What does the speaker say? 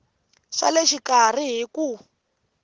swa le xikarhi hi ku